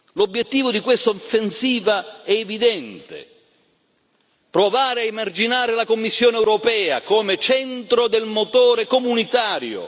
L'obiettivo di questa offensiva è evidente provare a emarginare la Commissione europea come centro del motore comunitario.